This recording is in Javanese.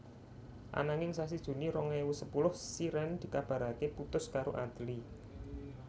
Ananging sasi Juni rong ewu sepuluh Shireen dikabarake putus karo Adly